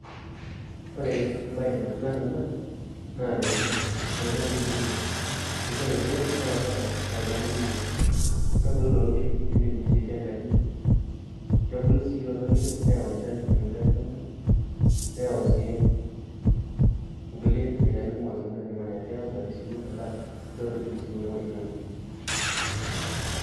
Ore embae nalimu ena naa enetipat oleng temurua amu ore irkiek naa keeta faidani kumok , kebulu lelo kiek nindim nishietie enkaji , nebulu si lelo kiek neyau enchan